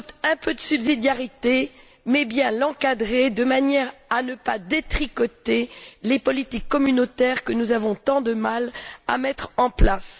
Un peu de subsidiarité s'impose, mais il faut bien l'encadrer de manière à ne pas détricoter les politiques communautaires que nous avons tant de mal à mettre en place.